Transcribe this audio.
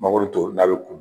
Mangoro to n'a bɛ